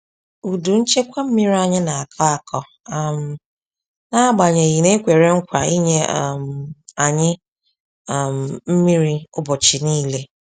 Udu nchekwa mmiri anyị na-akọ akọ um n'agbanyeghị na e kwere nkwa inye um anyi um mmiri ubọchi nile.